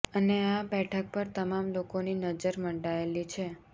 અને આ બેઠક પર તમામ લોકોની નજર મંડાયેલી છે